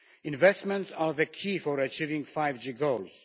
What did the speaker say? Investments are the key for achieving 5G goals.